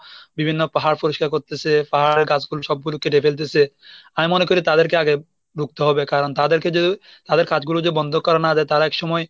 বিভিন্ন পাহাড় পরিষ্কার করতেসে পাহাড় গাছগুলো সবগুলো কেটে ফেলতেসে আমি মনে করি তাদেরকে আগে ধরতে হবে, কারণ তাদেরকে যদি তাদের কাজগুলো যে বন্ধ করা না যায় তারা একসময়